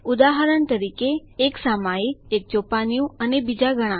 ઉદાહરણ તરીકે એક સામયિક એક ચોપાનિયું અને બીજા ઘણા